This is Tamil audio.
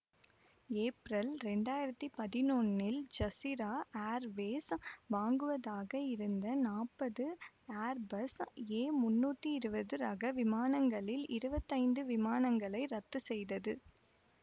ஏப்ரல் இரண்டாயிரத்தி பதினொன்னில் ஜஸீரா ஏர்வேஸ் வாங்குவதாக இருந்த நாப்பது ஏர்பஸ் ஏ முன்னூத்தி இருவது ரக விமானங்களில் இருவத்தைந்து விமானங்களை ரத்து செய்தது